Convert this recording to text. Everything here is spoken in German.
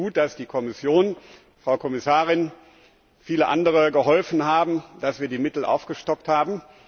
Deswegen ist es gut, dass die Kommission, Frau Kommissarin, und viele andere geholfen haben, dass wir die Mittel aufgestockt haben.